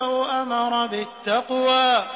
أَوْ أَمَرَ بِالتَّقْوَىٰ